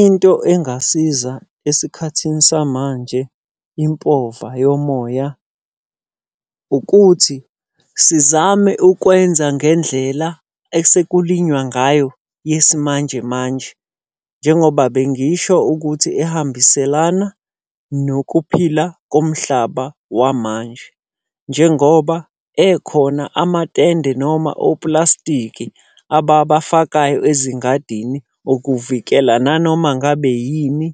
Into engasiza esikhathini samanje impova yomoya, ukuthi sizame ukwenza ngendlela esekulinywa ngayo yesimanje manje. Njengoba bengisho ukuthi ehambiselana nokuphila komhlaba wamanje. Njengoba ekhona amatende noma oplastiki ababafakayo ezingadini ukuvikela nanoma ngabe yini